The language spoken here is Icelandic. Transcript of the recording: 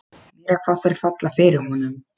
Meira hvað þær falla fyrir honum!